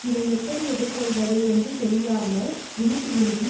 இதை எப்படி எதிர் கொள்வது என்று தெரியாமல் விழிபிதுங்கி